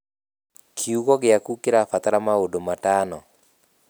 kiugũ gĩaku kĩrabatara maũndũ matano